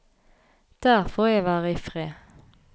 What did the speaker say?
Der får jeg være i fred.